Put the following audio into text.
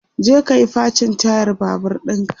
je kayi facin tayar Babur ɗinka!